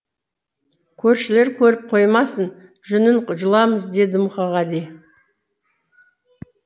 көршілер көріп қоймасын жүнін жұламыз деді мұқағали